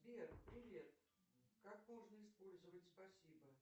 сбер привет как можно использовать спасибо